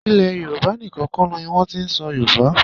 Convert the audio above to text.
Ilẹ̀ Yorùbá níkan kọ́ ni a ti ń sọ Yorùbá.